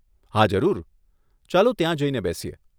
હા જરૂર, ચાલો ત્યાં જઈને બેસીએ.